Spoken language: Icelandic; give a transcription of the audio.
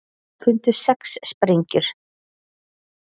Fundu sex sprengjur